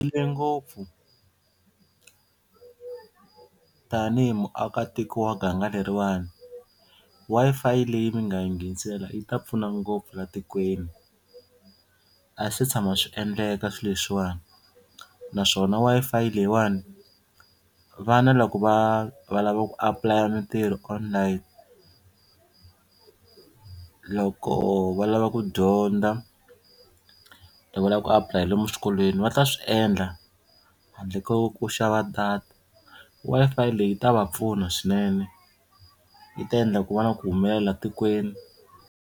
ngopfu tanihi muakatiko wa ganga leriwani Wi-Fi leyi mi nga hi nghenisela yi ta pfuna ngopfu la tikweni a swi se tshama swi endleka swilo leswiwani naswona Wi-Fi leyiwani vana loko va va lava ku apply-a mintirho online, loko va lava ku dyondza, loko va lava ku apply-a lomu swikolweni va ta swi endla handle ko ku xava data Wi-Fi leyi yi ta va pfuna swinene yi ta endla ku va na ku humelela tikweni.